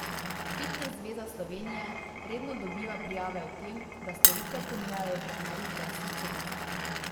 Fitnes zveza Slovenije redno dobiva prijave o tem, da storitve ponujajo trenerji brez licence.